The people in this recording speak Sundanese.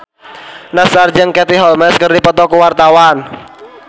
Nassar jeung Katie Holmes keur dipoto ku wartawan